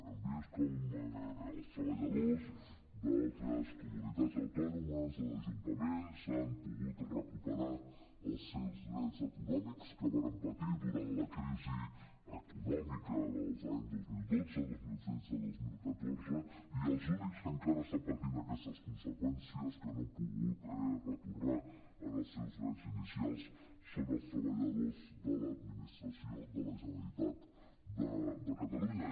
hem vist com els treballadors d’altres comunitats autònomes dels ajuntaments han pogut recuperar els seus drets econòmics que varen patir durant la crisi econòmica dels anys dos mil dotze dos mil tretze dos mil catorze i els únics que encara estan patint aquestes conseqüències que no han pogut retornar als seus drets inicials són els treballadors de l’administració de la generalitat de catalunya